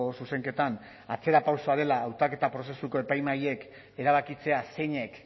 zuzenketan atzerapausoa dela hautaketa prozesuko epaimahaiek erabakitzea zeinek